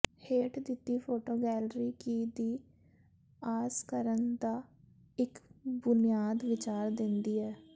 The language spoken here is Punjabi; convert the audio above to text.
ਹੇਠ ਦਿੱਤੀ ਫੋਟੋ ਗੈਲਰੀ ਕੀ ਦੀ ਆਸ ਕਰਨ ਦਾ ਇੱਕ ਬੁਨਿਆਦੀ ਵਿਚਾਰ ਦਿੰਦੀ ਹੈ